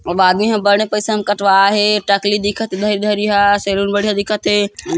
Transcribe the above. अब आदमी बड़ पैसा म कटवाय हे टकली दिखत इधर इधर इहाँ सेलून बडियाँ दिखत हे।